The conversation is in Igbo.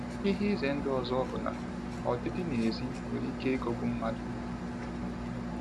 Ihe ize ndụ ọzọ bụ na ọdịdị n’èzí nwere ike ịghọgbu mmadụ.